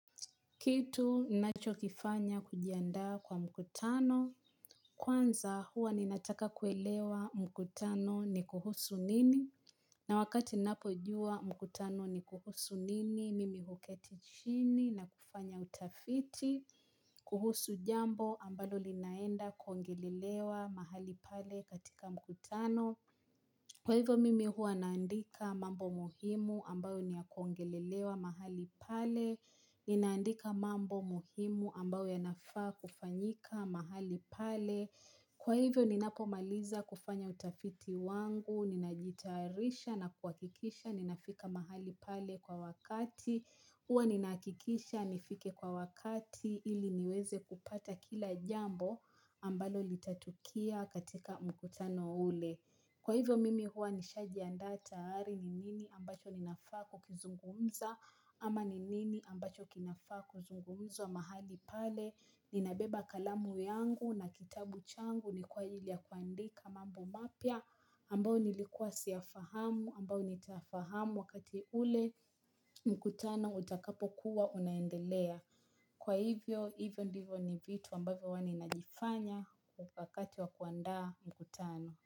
Kitu ninacho kifanya kujiandaa kwa mkutano. Kwanza, huwa ninataka kuelewa mkutano ni kuhusu nini. Na wakati napojua mkutano ni kuhusu nini, mimi huketi chini na kufanya utafiti. Kuhusu jambo ambalo linaenda kuongelelewa mahali pale katika mkutano. Kwa hivyo, mimi huwa naandika mambo muhimu ambayo niyakuongelelewa mahali pale. Ninaandika mambo muhimu ambao yanafaa kufanyika mahali pale kwa hivyo ninapo maliza kufanya utafiti wangu ninajitayarisha na kuakikisha ninafika mahali pale kwa wakati Huwa ninakikisha nifike kwa wakati ili niweze kupata kila jambo ambalo litatokea katika mkutano ule. Kwa hivyo mimi huwa nishajianda tayari ni nini ambacho ninafa kukizungumza ama ni nini ambacho kinafaa kuzungumuzwa mahali pale. Ninabeba kalamu yangu na kitabu changu ni kwa ajiri ya kuandika mambo mapya ambao nilikuwa siyafahamu, ambao nitafahamu wakati ule mkutano utakapo kuwa unaendelea. Kwa hivyo, hivyo ndivyo ni vitu ambavyo huwa ninazifanya kwa wakati wa kuandaa mkutano.